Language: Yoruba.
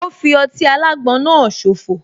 Ò fi ọtí alágbon náà so fò